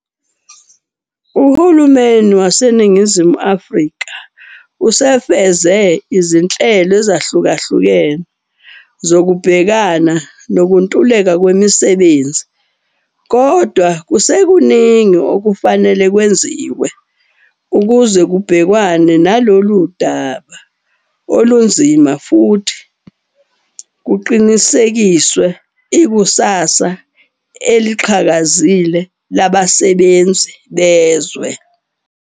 Uhulumeni waseNingizimu Afrika usefeze izinhlelo ezahlukahlukeni zokubhekana nokuntuleka kwemisebenzi, kodwa kusekuningi okufanele kwenziwe ukuze kubhekwane nalolu daba olunzima futhi kuqinisekiswe ikusasa eliqhakazile labasebenzi bezwe.